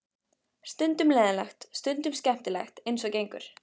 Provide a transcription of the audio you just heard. Stundum leiðinlegt, stundum skemmtilegt eins og gengur.